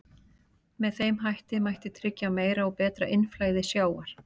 Með þeim hætti mætti tryggja meira og betra innflæði sjávar.